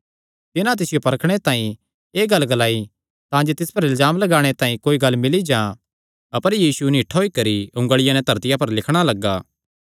तिन्हां तिसियो परखणे तांई एह़ गल्ल ग्लाई तांजे तिस पर इल्जाम लगाणे तांई कोई गल्ल मिल्ली जां अपर यीशु निठ्ठा होई करी उंगलिया नैं धरतिया पर लिखणा लग्गा